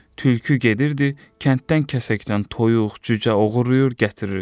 Tülkü gedirdi, kənddən kəsəkdən toyuq, cücə oğurlayıb gətirirdi.